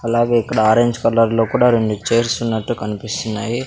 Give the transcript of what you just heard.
అలాగే ఇక్కడ orange colour లో కుడా రెండు చైర్స్ వున్నట్టు కన్పిస్తున్నాయి.